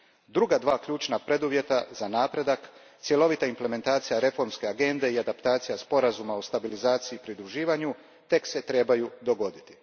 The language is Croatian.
Druga dva ključna preduvjeta za napredak, cjelovita implementacija reformske agende i adaptacija Sporazuma o stabilizaciji i pridruživanju, tek se trebaju dogoditi.